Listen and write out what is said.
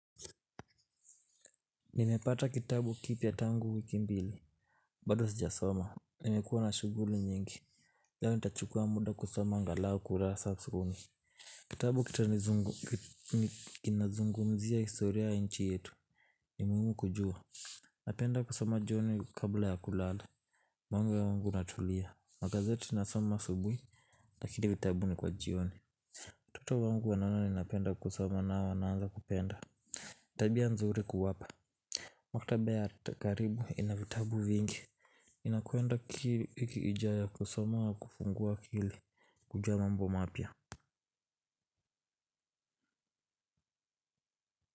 Nimepata kitabu kipya tangu wiki mbili. Bado sija soma nimekuwa na shughuli nyingi leo ni tachukua muda kusoma angalau kurasa kumi. Kitabu kita nizungu, kina zungumzia historia ya nchi yetu. Ni muhimu kujua. Napenda kusoma jioni kabla ya kulala. Moyo wangu unatulia. Magazeti na soma asubuhi lakini vitabu ni kwa jioni. Watoto wangu wanaona ni napenda kusoma na wanaanza kupenda. Tabia nzuri kuwapa. Maktaba ya karibu ina vitabu vingi nakwenda kweda wiki ijayo kusoma na kufungua akili kujua mambo mapya.